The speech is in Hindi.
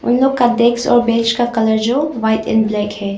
उन लोग का डेस्क और बेंच का कलर जो व्हाइट एंड ब्लैक है।